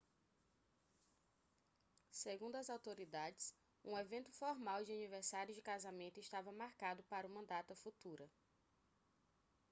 segundo as autoridades um evento formal de aniversário de casamento estava marcado para uma data futura